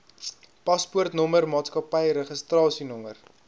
paspoortnommer maatskappy registrasienommer